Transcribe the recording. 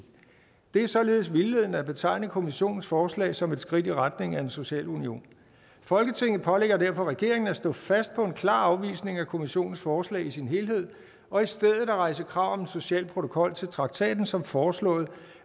det er således vildledende at betegne kommissionens forslag som et skridt i retningen af en social union folketinget pålægger derfor regeringen at stå fast på en klar afvisning af kommissionens forslag i sin helhed og i stedet rejse krav om en social protokol til traktaten som foreslået